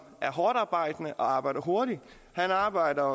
er hårdtarbejdende og arbejder hurtigt han arbejder